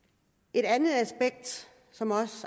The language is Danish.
et andet aspekt som